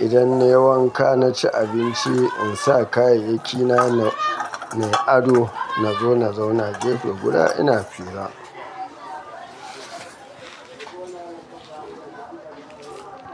Idan na yi wanka, na ci abinci in saka kayayyaki na na yi ado. Na zauna gefe guda ina hira.